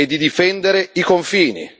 e di difendere i confini.